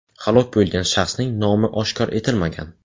Halok bo‘lgan shaxsning nomi oshkor etilmagan.